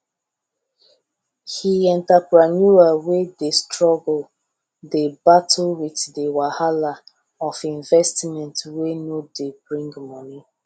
he entrepreneur wey dey struggle dey battle with the wahala of investment wey no dey bring money